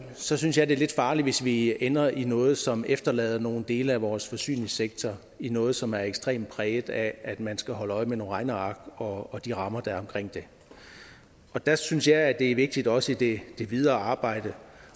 så synes jeg det er lidt farligt hvis vi ender i noget som efterlader nogle dele af vores forsyningssektor i noget som er ekstremt præget af at man skal holde øje med nogle regneark og de rammer der er omkring det der synes jeg det er vigtigt også i det videre arbejde